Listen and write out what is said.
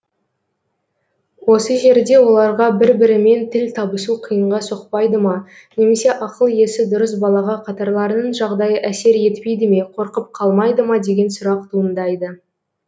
осы жерде оларға бір бірімен тіл табысу қиынға соқпайды ма немесе ақыл есі дұрыс балаға қатарларының жағдайы әсер етпейді ме қорқып қалмайды ма деген сұрақ туындайды